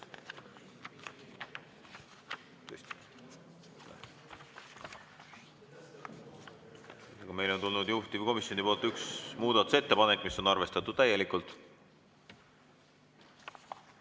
Meile on tulnud juhtivkomisjonilt üks muudatusettepanek, mis on arvestatud täielikult.